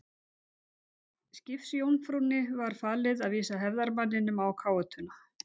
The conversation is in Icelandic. Skipsjómfrúnni var falið að vísa hefðarmanninum á káetuna.